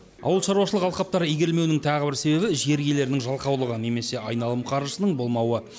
ауылшаруашылық алқаптары игерілмеуінің тағы бір себебі жер иелерінің жалқаулығы немесе айналым қаржысының болмауы